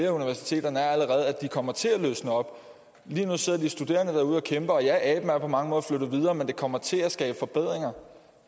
af universiteterne er allerede at det kommer til at løsne op lige nu sidder de studerende derude og kæmper og ja aben er på mange måder flyttet videre men det kommer til at skabe forbedringer